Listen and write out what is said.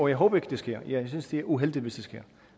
jeg håber ikke at det sker jeg synes det er uheldigt hvis det sker